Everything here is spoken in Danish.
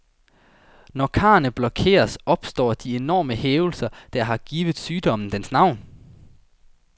Når karrene blokeres, opstår de enorme hævelser, der har givet sygdommen dens navn.